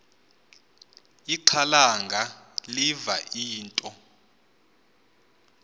ixhalanga liva into